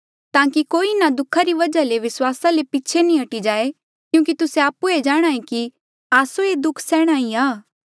ताकि कोई इन्हा दुःखा री वजहा ले विस्वासा ले पीछे नी हटी जाए क्यूंकि तुस्से आपु जाणहां ऐें कि आस्सो ये दुःख सैहणा ही आ